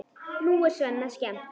Nú er Svenna skemmt.